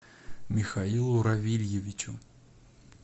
михаилу равильевичу